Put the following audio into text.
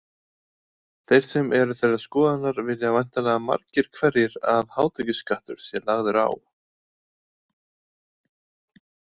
Þeir sem eru þeirrar skoðunar vilja væntanlega margir hverjir að hátekjuskattur sé lagður á.